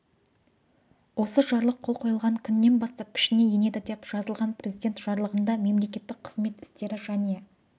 осы жарлық қол қойылған күнінен бастап күшіне енеді деп жазылған президент жарлығында мемлекеттік қызмет істері және